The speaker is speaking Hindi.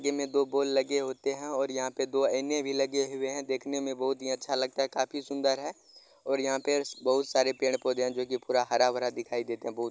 ये में दो बोल लगे होते हैं और यहाँ पे दो ऐने भी लगे हुए हैं। देखने में बहुत अच्छा लगता है। काफी सुंदर है और यहाँ पेर बहुत सारे पेड़ पौधे हैं जो कि पूरा हरा भरा दिखाई देते हैं। बहुत --